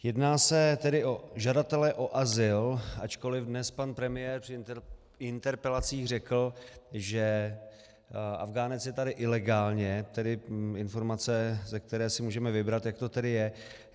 Jedná se tedy o žadatele o azyl, ačkoliv dnes pan premiér při interpelacích řekl, že Afghánec je tady ilegálně, tedy informace, ze které si můžeme vybrat, jak to tedy je.